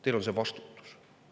Teil on see vastutus.